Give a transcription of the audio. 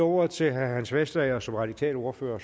ordet til herre hans vestager som radikal ordfører